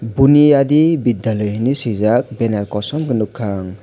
boniya di vidyalay hinoi sijak benner koson kei nogkha ang.